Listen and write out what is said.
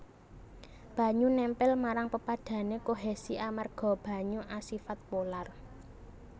Banyu nèmpèl marang pepadhané kohesi amarga banyu asifat polar